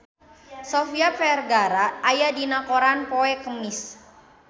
Sofia Vergara aya dina koran poe Kemis